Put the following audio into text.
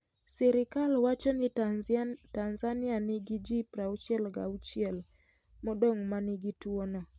Sirkal wacho ni Tanzania nigi ji 66 modong ' ma nigi tuwono